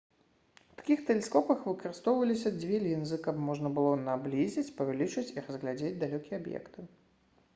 у такіх тэлескопах выкарыстоўваліся дзве лінзы каб можна было наблізіць павялічыць і разглядзець далёкія аб'екты